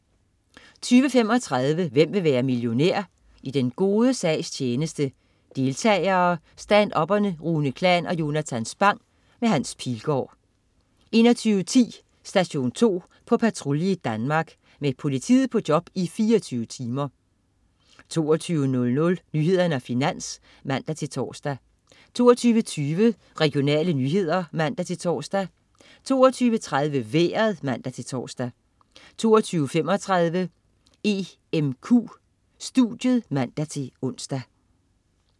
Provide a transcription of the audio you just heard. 20.35 Hvem vil være millionær? I den gode sags tjeneste. Deltagere: Stand-up'erne Rune Klan og Jonatan Spang. Hans Pilgaard 21.10 Station 2 på patrulje i Danmark. Med politiet på job i 24 timer 22.00 Nyhederne og Finans (man-tors) 22.20 Regionale nyheder (man-tors) 22.30 Vejret (man-tors) 22.35 EMQ studiet (man-ons)